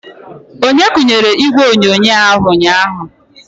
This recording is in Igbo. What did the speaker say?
Onye kunyere ígwè onyonyo ahụ ụnyaahụ?